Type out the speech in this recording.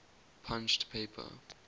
punched paper